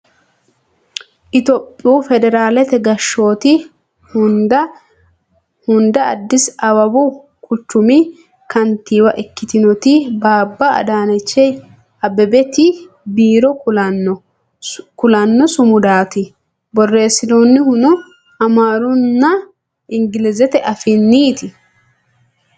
itiyophiyu federaalete gashshooti hunda addisi awawu quchumi kantiiwa ikkitinoti baabba adaanechi abbebeti biiro kulanno sumudaati borreessinoonnihuno amaarunna ingilizete afiinniiti ?